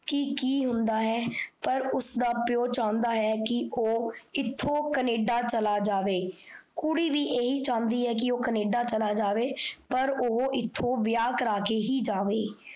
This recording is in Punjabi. ਕੀ ਕੀ ਹੁੰਦਾ ਹੈ। ਪਰ ਉਸਦਾ ਪਿਓ ਚਾਉਂਦਾ ਹੈ, ਕੀ ਓਹ ਇਥੋਂ canada ਚਲਾ ਜਾਵੇ, ਕੁੜੀ ਵੀ ਏਹੀ ਚਾਉਂਦੀ ਹੈ ਕੀ ਓਹ canada ਚੱਲਾ ਜਾਵੇ ਪਰ ਓਹ ਏਥੋਂ ਵਿਆਹ ਕਰਕੇ ਹੀ ਜਾਵੇ,